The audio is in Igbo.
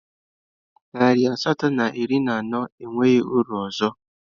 Naịra asatọ na iri na anọ enweghị uru ọzọ